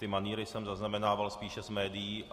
Ty manýry jsem zaznamenával spíše z médií.